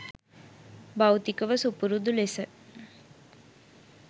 භෞතිකව සුපුරුදු ලෙස